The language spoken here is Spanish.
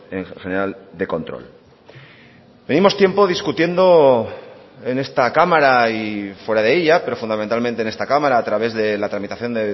en general de control venimos tiempo discutiendo en esta cámara y fuera de ella pero fundamentalmente en esta cámara a través de la tramitación